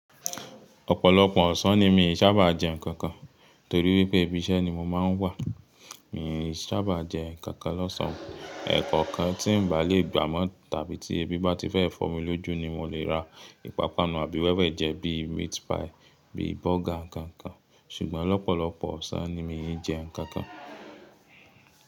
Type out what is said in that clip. Ọ̀pọ̀lọpọ̀ ọ̀sán ni mì ṣábà jẹ́ nǹkan kan, torí pé ibi iṣẹ́ ni mo máa ń wà. Mi ṣábà jẹ́ nǹkan kan lọ́sàn. Ẹ̀ nnkan kan tí mi bà lè gbà mọ́ tàbí tí ẹbi bá ti fẹ́ fọ́ mi lójú ni mo lè ra ìpapanu àbí wẹ́wẹ́ jẹ. Bí meat pie, bí burger, nǹkan kan. Sùgbọ́n lopolopo ọ̀sán ni mì jẹ́ nǹkan kan.